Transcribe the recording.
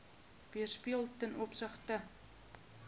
weerspieël ten opsigte